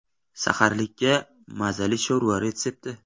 Saharlikka mazali sho‘rva retsepti.